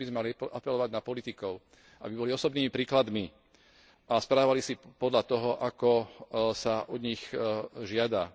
Predovšetkým by sme mali apelovať na politikov, aby boli osobnými príkladmi a správali sa podľa toho, ako sa od nich žiada.